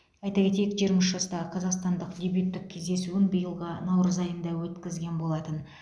айта кетейік жиырма үш жастағы қазақстандық дебюттік кездесуін биылғы наурыз айында өткізген болатын